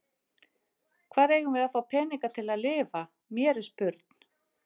Hvar eigum við að fá peninga til að lifa, mér er spurn.